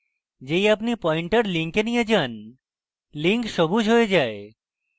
যেই আপনি pointer link নিয়ে যান link সবুজ হয়ে যায়